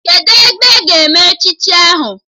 Kedụ ebe a ga-eme echichi ahụ?